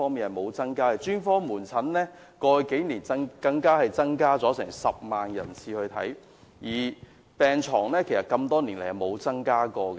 過去數年專科門診的求診人次增加了10萬，病床多年來卻沒有增加。